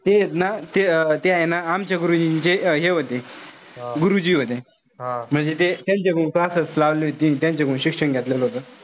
ते एत ना ते ते हाये ना आमच्या बरोबरचे जे हे होते, गुरुजी होते. म्हणजे ते त्यांच्याकडून classes लावले होते. त्यांच्याकडून शिक्षण घेतलेले होत.